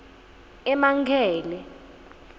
emankele